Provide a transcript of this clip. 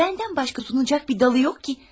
Məndən başqa dayağı yoxdur ki.